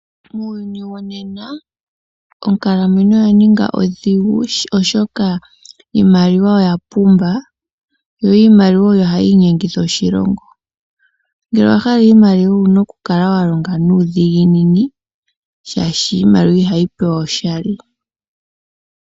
Muuyuni wonena onkalamwenyo oya ninga ondhigu, oshoka iimaliwa oya pumba. Yo iimaliwa oyo hayi inyengitha oshilongo. Ngele owa hala iimaliwa owu na okukala wa longa nuudhiginini, shaashi iimaliwa iho yi pewa oshali.